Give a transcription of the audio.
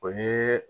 O ye